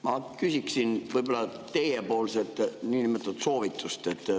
Ma küsiksin teie soovitust.